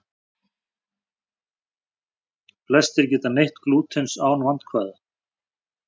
Flestir geta neytt glútens án vandkvæða.